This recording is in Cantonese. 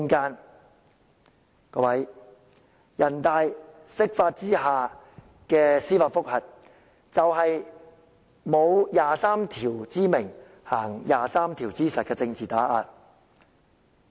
各位，人大常委會釋法下的司法覆核，便是沒有第二十三條之名，但行第二十三條之實的政治打壓。